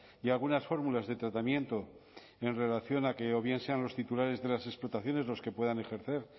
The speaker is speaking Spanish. y algunas fórmulas de tratamiento en relación a que o bien sean los titulares de las explotaciones los que puedan ejercer